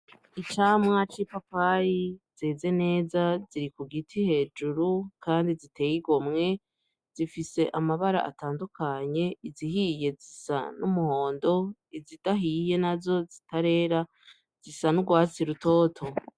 Icamwaco i papayi zeze neza ziri ku giti hejuru, kandi ziteye igomwe zifise amabara atandukanye izihiye zisa n'umuhondo izidahiye na zo zitarera zisa n'urwasi rutoto.